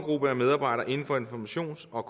og